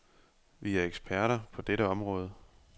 Vi er eksperter på dette område.